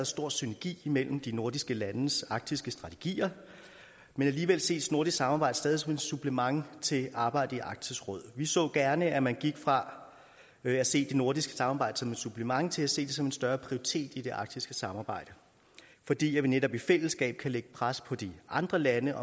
stor synergi mellem de nordiske landes arktiske strategier men alligevel ses nordisk samarbejde stadig som et supplement til arbejdet i arktisk råd vi så gerne at man gik fra at se det nordiske samarbejde som et supplement til at se det som en større prioritet i det arktiske samarbejde fordi vi netop i fællesskab kan lægge pres på de andre lande